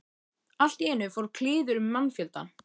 Allt í einu fór kliður um mannfjöldann.